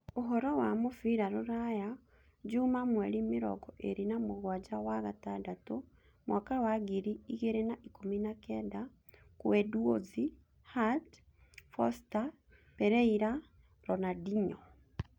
Ũhoro wa mũbira ruraya juma mweri mĩrongo ĩĩrĩ na mũgwanja wa gatandatũ mwaka wa ngiri igĩrĩ na ikũmi na kenda: kuendouzi, Hart, Forster, Pereira, Ronaldinho